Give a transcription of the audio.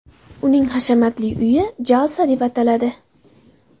Uning hashamatli uyi Jalsa deb ataladi.